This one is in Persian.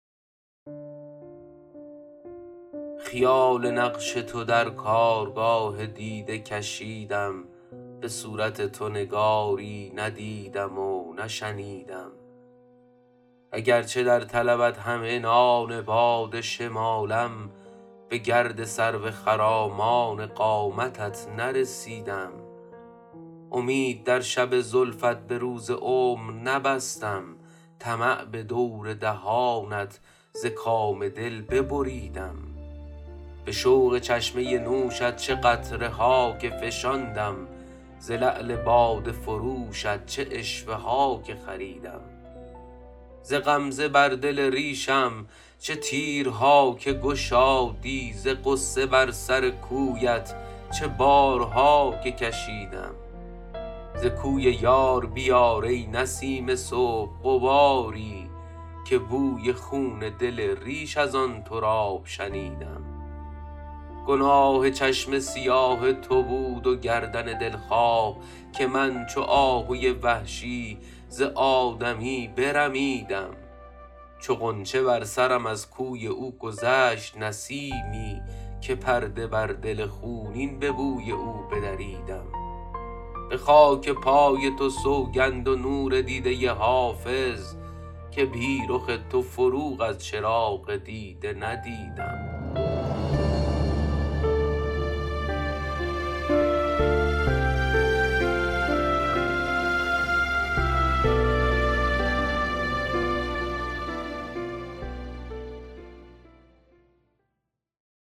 خیال نقش تو در کارگاه دیده کشیدم به صورت تو نگاری ندیدم و نشنیدم اگرچه در طلبت هم عنان باد شمالم به گرد سرو خرامان قامتت نرسیدم امید در شب زلفت به روز عمر نبستم طمع به دور دهانت ز کام دل ببریدم به شوق چشمه نوشت چه قطره ها که فشاندم ز لعل باده فروشت چه عشوه ها که خریدم ز غمزه بر دل ریشم چه تیرها که گشادی ز غصه بر سر کویت چه بارها که کشیدم ز کوی یار بیار ای نسیم صبح غباری که بوی خون دل ریش از آن تراب شنیدم گناه چشم سیاه تو بود و گردن دلخواه که من چو آهوی وحشی ز آدمی برمیدم چو غنچه بر سرم از کوی او گذشت نسیمی که پرده بر دل خونین به بوی او بدریدم به خاک پای تو سوگند و نور دیده حافظ که بی رخ تو فروغ از چراغ دیده ندیدم